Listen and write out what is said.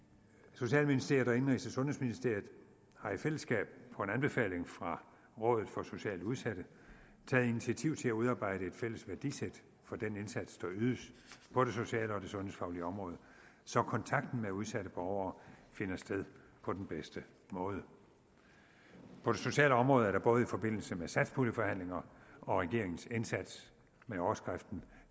socialministeriet og indenrigs og sundhedsministeriet har i fællesskab på en anbefaling fra rådet for socialt udsatte taget initiativ til at udarbejde et fælles værdisæt for den indsats der ydes på det sociale og det sundhedsfaglige område så kontakten med udsatte borgere finder sted på den bedste måde på det sociale område er der både i forbindelse med satspuljeforhandlinger og regeringens indsats med overskriften